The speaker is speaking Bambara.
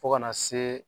Fo kana se